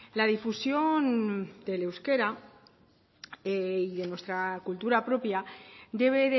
la difusión del euskera y de nuestra cultura propia debe